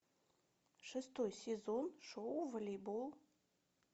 шестой сезон шоу волейбол